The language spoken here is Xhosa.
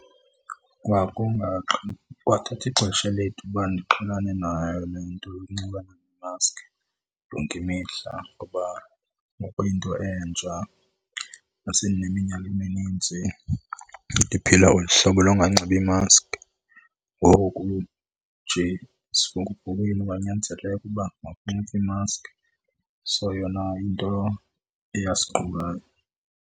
Kwathatha ixesha elide uba ndiqhelane nayo le nto yokunxibana nemaski yonke imihla ngoba kwakuyinto entsha, ndase ndineminyaka eminintsi ndiphila olu hlobo longanxibi maski. Ngoku nje esivunguvungwini kwanyanzeleka ukuba makunxitywe imaski, so yona yinto eyasiqukayo.